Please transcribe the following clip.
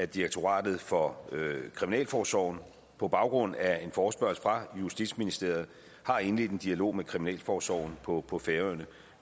direktoratet for kriminalforsorgen på baggrund af en forespørgsel fra justitsministeriet har indledt en dialog med kriminalforsorgen på på færøerne